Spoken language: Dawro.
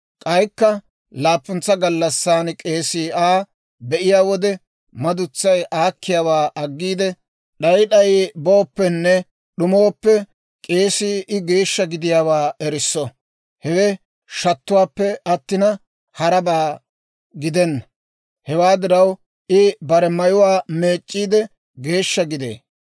K'aykka laappuntsa gallassan k'eesii Aa; be'iyaa wode madutsay aakkiyaawaa aggiide d'ay d'ay booppenne d'umooppe, k'eesii I geeshsha gidiyaawaa erisso. Hewe shattuwaappe attina harabaa gidenna; hewaa diraw, I bare mayuwaa meec'c'iide geeshsha gidee.